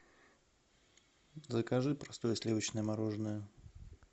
закажи простое сливочное мороженое